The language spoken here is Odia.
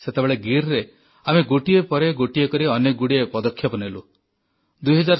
ସେତେବେଳେ ଗୀରରେ ଆମେ ଗୋଟିଏ ପରେ ଗୋଟିଏ କରି ଅନେକଗୁଡ଼ିଏ ପଦକ୍ଷେପ ନେଲୁ